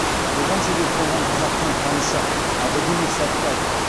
оған себеп болған қазақтың қанышы академик сәтбаев